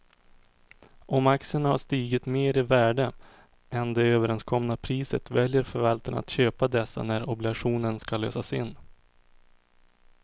Om aktierna har stigit mer i värde än det överenskomna priset väljer förvaltaren att köpa dessa när obligationen ska lösas in.